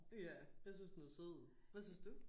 Ja jeg synes den er sød. Hvad synes du?